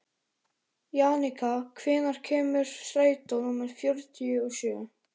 Jannika, hvenær kemur strætó númer fjörutíu og sjö?